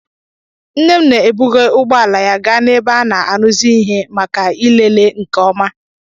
Nne m na-ebuga ụgbọ ala ya gaa n'ebe a na-arụzi ihe maka ịlele nke ọma